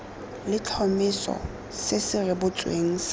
letlhomeso se se rebotsweng sa